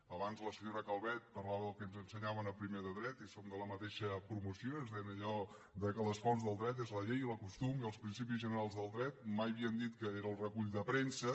abans la senyora calvet parlava del que ens ensenyaven a primer de dret i som de la mateixa promoció i ens deien allò de que les fonts del dret és la llei la costum i els principis generals del dret i mai havien dit que era el recull de premsa